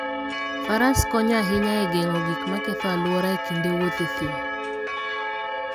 Faras konyo ahinya e geng'o gik maketho alwora e kinde wuoth e thim.